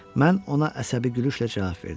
Mən ona əsəbi gülüşlə cavab verdim.